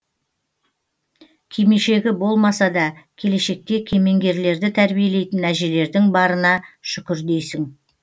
кимешегі болмаса да келешекте кемеңгерлерді тәрбиелейтін әжелердің барына шүкір дейсің